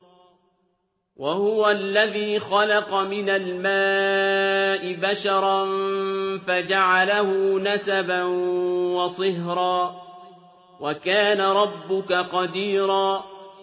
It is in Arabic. وَهُوَ الَّذِي خَلَقَ مِنَ الْمَاءِ بَشَرًا فَجَعَلَهُ نَسَبًا وَصِهْرًا ۗ وَكَانَ رَبُّكَ قَدِيرًا